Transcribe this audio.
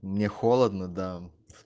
мне холодно да